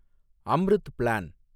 Amrut plan